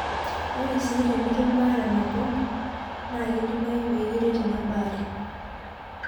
Ore sii tenitum baare mapema naa keidimayu pee kiret ina baare.